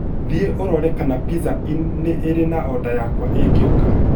Thiĩ ũrorie kana Pizza Inn nĩ ĩrĩ na order yakwa igĩũka.